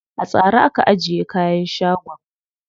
A tsare aka ajiye kayan shagon.